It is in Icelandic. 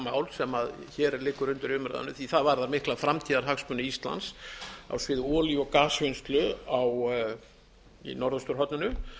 mál sem hér liggur undir umræðu því það varðar mikla framtíðarhagsmuni íslands á sviði olíu og gasvinnslu í norðausturhorninu